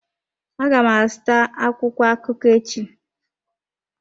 Aga m azụta akwụkwọ akụkọ echi.